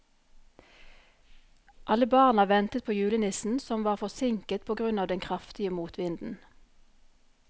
Alle barna ventet på julenissen, som var forsinket på grunn av den kraftige motvinden.